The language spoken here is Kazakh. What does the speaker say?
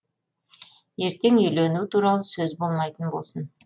ертең үйлену туралы сөз болмайтын болсын